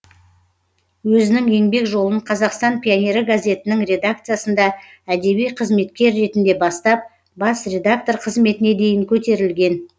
өзінің еңбек жолын қазақстан пионері газетінің редакциясында әдеби қызметкер ретінде бастап бас редактор қызметіне дейін көтерілген